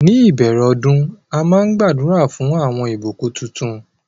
Ní ìbèrè òdún àmà n gbàdúrà fún awọn ìbùkún títún